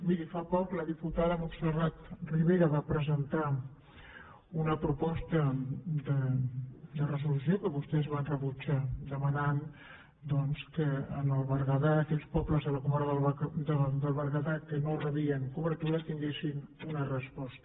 miri fa poc la diputada montserrat ribera va presentar una proposta de resolució que vostès van rebutjar per demanar doncs que en el berguedà aquells pobles de la comarca del berguedà que no rebien cobertura tinguessin una resposta